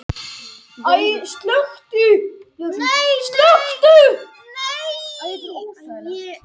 Fjarlægðin á milli samsíða hliðanna tveggja er kölluð hæð trapisunnar.